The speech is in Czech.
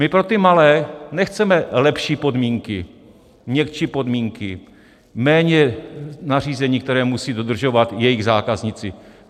My pro ty malé nechceme lepší podmínky, měkčí podmínky, méně nařízení, která musí dodržovat jejich zákazníci.